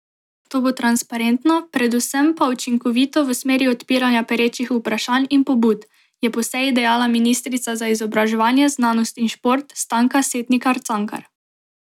To bo transparentno, predvsem pa učinkovito v smeri odpiranja perečih vprašanj in pobud, je po seji dejala ministrica za izobraževanje, znanost in šport Stanka Setnikar Cankar.